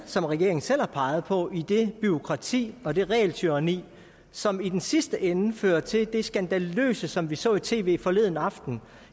som regeringen selv har peget på i det bureaukrati og det regeltyranni som i den sidste ende fører til det skandaløse som vi så i tv forleden aften